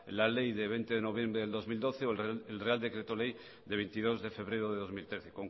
la ley de veinte de noviembre del dos mil doce o el real decreto ley de veintidós de febrero de dos mil trece